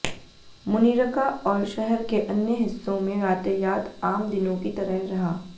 मुनिरका और शहर के अन्य हिस्सों में यातायात आम दिनों की तरह रहा